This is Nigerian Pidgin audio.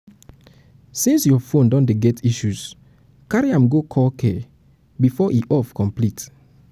since your phone don dey get issues carry am go calcare before e calcare before e off complete